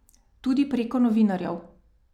Tudi preko novinarjev.